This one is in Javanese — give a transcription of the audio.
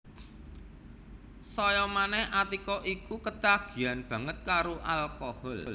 Saya manèh Atika iku ketagihan banget karo alkohol